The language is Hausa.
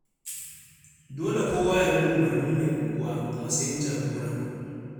Dole kowa ya bi umarnin mai unguwa, a matsayin jagora.